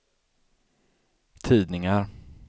tidningar